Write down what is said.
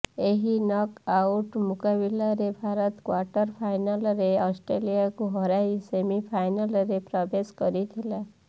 ଏହି knock out ମୁକାବିଲାରେ Bharat quarter ଫାଇନାଲରେ ଅଷ୍ଟ୍ରେଲିଆକୁ ହରାଇ ସେମିଫାଇନାଲରେ ପ୍ରବେଶ କରିଥିଲା